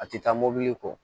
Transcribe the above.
A tɛ taa mobili kɔ